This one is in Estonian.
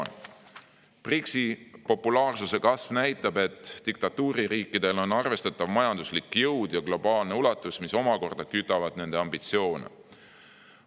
BRICS-i populaarsuse kasv näitab, et diktatuuririikidel on arvestatav majanduslik jõud ja globaalne ulatus, mis omakorda kütavad nende ambitsioone.